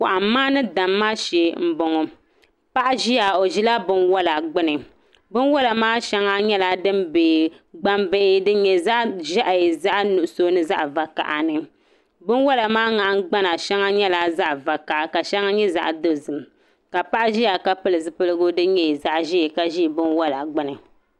Kɔhimma ni damma shɛɛ mbɔŋɔ paɣa ziya o zila bini wola gbuni bini wola maa shɛŋa nyɛla dini nyɛ dim bɛ gbaŋ bihi dini nyɛ zaɣi ʒehi zaɣi nuɣiso ni zaɣi vakahali bini wola maa nahingbana shɛŋa nyɛla zaɣi vakaha ka shɛŋa nyɛ zaɣi dozim ka paɣa ziya ka pili zupiligu dini nyɛ zaɣi ʒɛɛ ka zi bin wola gbuni.